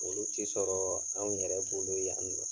Olu te sɔrɔɔ anw yɛrɛ bolo yan drɔ